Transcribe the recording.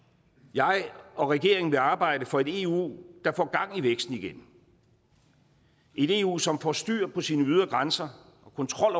jeg og regeringen vil arbejde for et eu der får gang i væksten igen et eu som får styr på sine ydre grænser og kontrol